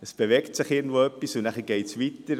Es bewegt sich immer irgendetwas und es geht weiter.